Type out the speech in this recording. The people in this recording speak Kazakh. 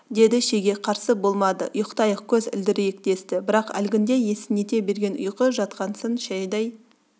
деді шеге қарсы болмады ұйықтайық көз ілдірейік десті бірақ әлгінде есінете берген ұйқы жатқасын шайдай